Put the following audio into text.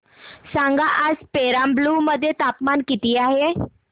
सांगा आज पेराम्बलुर मध्ये तापमान किती आहे